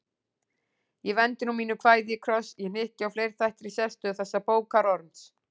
Ég vendi nú mínu kvæði í kross: ég hnykki á fleirþættri sérstöðu þessa bókarkorns.